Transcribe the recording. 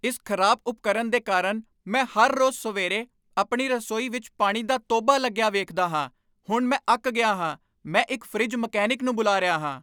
ਇਸ ਖਰਾਬ ਉਪਕਰਣ ਦੇ ਕਾਰਨ ਮੈਂ ਹਰ ਰੋਜ਼ ਸਵੇਰੇ ਆਪਣੀ ਰਸੋਈ ਵਿੱਚ ਪਾਣੀ ਦਾ ਟੋਭਾ ਲੱਗਿਆ ਵੇਖਦਾ ਹਾਂ! ਹੁਣ ਮੈਂ ਅੱਕ ਗਿਆ ਹਾਂ। ਮੈਂ ਇੱਕ ਫਰਿੱਜ ਮਕੈਨਿਕ ਨੂੰ ਬੁਲਾ ਰਿਹਾ ਹਾਂ।